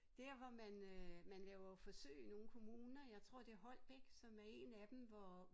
Dér hvor man øh man laver jo forsøg i nogle kommuner jeg tror det Holbæk som er 1 af dem hvor